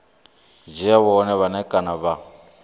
dzhia vhone vhane kana vha